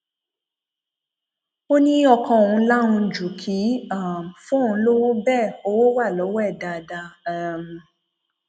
ó ní ọkọ òun lahùn ju kì í um fóun lọwọ bẹẹ owó wà lọwọ ẹ dáadáa um